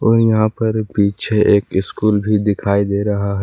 और यहां पर पीछे एक स्कूल भी दिखाई दे रहा है।